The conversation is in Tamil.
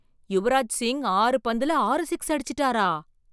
யுவராஜ் சிங் ஆறு பந்துல ஆறு சிக்ஸ் அடிச்சிட்டாரா!